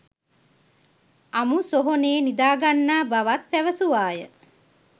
අමු සොහොනේ නිදාගන්නා බවත් පැවසුවාය.